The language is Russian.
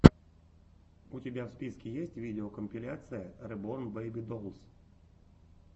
у тебя в списке есть видеокомпиляция реборн бэйби долс